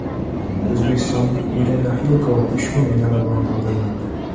O‘zbekistonlik Irina Xilkova Pushkin medali bilan taqdirlandi.